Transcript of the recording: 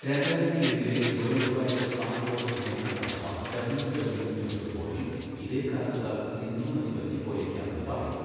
രണ്ടായിരത്തിയേഴിലെ World Wide Fund for Nature അഥവാ WWF റിപ്പോർട്ടിൽ ഇതേ കാരണത്താൽ സിന്ധു നദി വറ്റിപ്പോയേക്കാമെന്ന് പറയുന്നു.